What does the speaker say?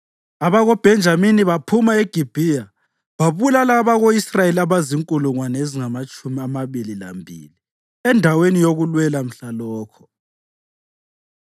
AbakoBhenjamini baphuma eGibhiya babulala abako-Israyeli abazinkulungwane ezingamatshumi amabili lambili endaweni yokulwela mhlalokho.